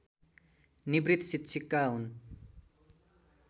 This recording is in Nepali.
निवृत शिक्षिका हुन्